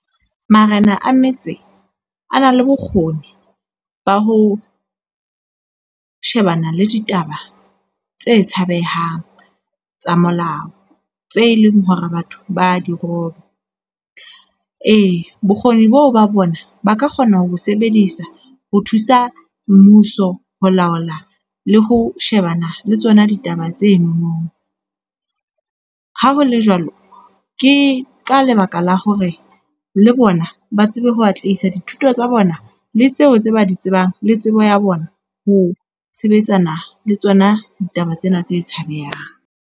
Marena a metse a na le bokgoni ba ho, shebana le ditaba tse tshabehang tsa molao, tse leng hore batho ba di roba. E, bokgoni boo ba bona ba ka kgona ho sebedisa ho thusa mmuso ho laola le ho shebana le tsona ditaba tsenono. Ha ho le jwalo, ke ka lebaka la hore le bona ba tsebe ho atlehisa dithuto tsa bona le tseo tse ba di tsebang le tsebo ya bona ho sebetsana le tsona ditaba tsena tse tshabehang.